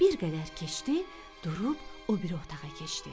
Bir qədər keçdi, durub o biri otağa keçdi.